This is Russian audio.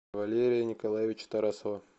валерия николаевича тарасова